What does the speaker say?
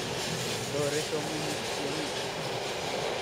Tore somunyik tiongik .